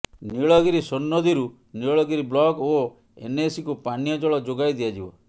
ନୀଳଗିରି ସୋନନଦୀରୁ ନୀଳଗିରି ବ୍ଲକ ଓ ଏନଏସିକୁ ପାନୀୟ ଜଳ ଯୋଗାଇ ଦିଆଯିବ